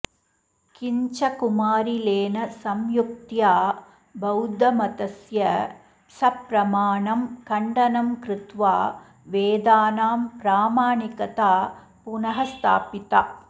किञ्च कुमारिलेन सयुक्त्या बौद्धमतस्य सप्रमाणं खण्डनं कृत्वा वेदानां प्रामाणिकता पुनः स्थापिता